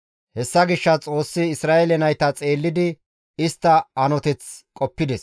Hessa gishshas Xoossi Isra7eele nayta xeellidi istta hanoteth qoppides.